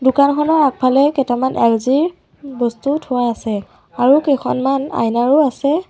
দোকানখনৰ আগফালে কেইটামান এলজিৰ বস্তু থোৱা আছে আৰু কেইখনমান আইনাও আছে।